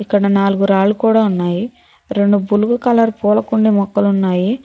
ఇక్కడ నాలుగు రాళ్లు కూడా ఉన్నాయి రెండు పులుగు కలర్ పూల కొండి మొక్కలు ఉన్నాయి.